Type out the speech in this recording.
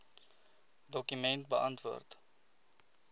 dokument beantwoord